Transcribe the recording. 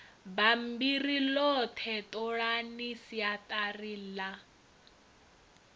bammbiri ḽoṱhe ṱolani siaṱari ḽa